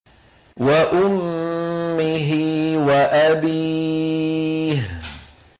وَأُمِّهِ وَأَبِيهِ